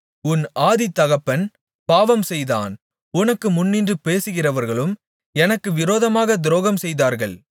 உன் ஆதிதகப்பன் பாவம்செய்தான் உனக்கு முன்னின்று பேசுகிறவர்களும் எனக்கு விரோதமாகத் துரோகம்செய்தார்கள்